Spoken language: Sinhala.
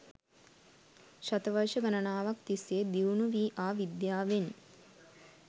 ශතවර්ශ ගණනාවක් තිස්සේ දියුණු වී ආ විද්‍යාවෙන්